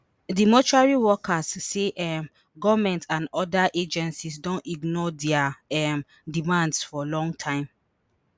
di mortuary workers say um goment and oda agencies don ignore dia um demands for long time